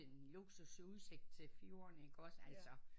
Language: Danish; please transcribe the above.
En luksus udsigt til fjorden igås altså